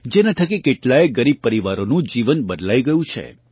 જેનાં થકી કેટલાંય ગરીબ પરિવારોનું જીવન બદલાઇ ગયું છે